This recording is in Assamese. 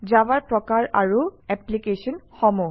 জাভাৰ প্ৰকাৰ আৰু এপ্লিকেশ্যনসমূহ